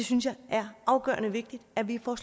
synes det er afgørende vigtigt at vi får